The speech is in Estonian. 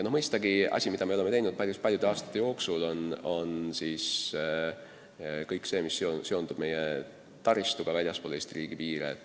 Mõistagi, asi, mida me oleme ajanud päris paljude aastate jooksul, on kõik see, mis seondub meie taristuga väljaspool Eesti riigi piire.